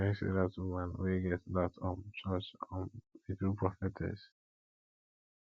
i hear say dat woman woman wey get dat um church um be true prophetess